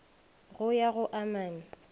go ya go a mane